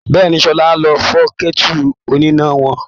Bẹ́ẹ̀ni, Ṣọlá ló fọ́ kẹ́tù oníná wọn.